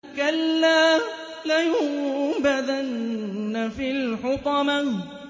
كَلَّا ۖ لَيُنبَذَنَّ فِي الْحُطَمَةِ